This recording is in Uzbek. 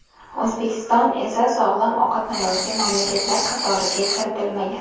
O‘zbekiston esa sog‘lom ovqatlanuvchi mamlakatlar qatoriga kiritilmagan.